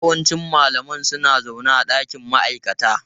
Yawancin malamai suna zaune a dakin ma'aikata.